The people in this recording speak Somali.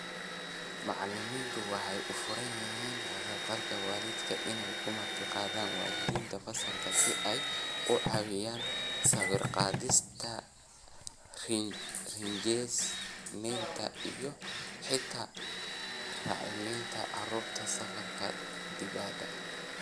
Macallimiintu waxay u furan yihiin ka-qaybgalka waalidka inay ku martiqaadaan waalidiinta fasalka si ay uga caawiyaan sawir-qaadista, rinjiyeynta iyo xitaa u raacitaanka carruurta safarrada dibadda.